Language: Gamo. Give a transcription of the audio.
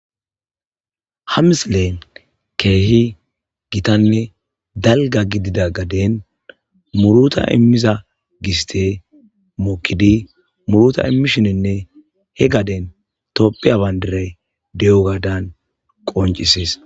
ha misilen keehi gitanne dalga gidida gaden muruta immiza giste mukkidi muruta immishininne he gaden toppiya bayndiray de7o gaadan qoncisis